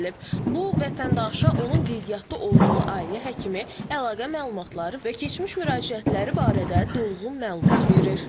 Bu vətəndaşa onun qeydiyyatda olduğu ailə həkimi, əlaqə məlumatları və keçmiş müraciətləri barədə dolğun məlumat verir.